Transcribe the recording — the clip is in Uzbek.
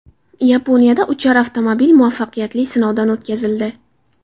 Yaponiyada uchar avtomobil muvaffaqiyatli sinovdan o‘tkazildi .